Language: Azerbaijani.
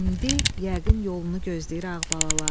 İndi yəqin yolunu gözləyir ağbalalar.